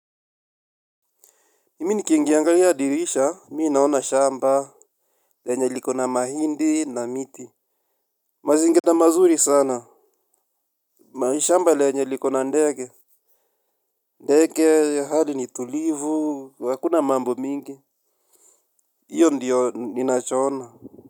Mimi nikiingi angalia dirisha mii naona shamba lenye liko na mahindi na miti. Mazingira mazuri sana. Mahishamba lenye liko na ndege. Ndege hadi ni tulivu hakuna mambo mingi. Iyo ndiyo ninachoona.